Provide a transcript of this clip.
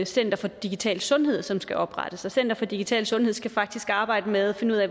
center for digital sundhed som skal oprettes center for digital sundhed skal faktisk arbejde med at finde ud af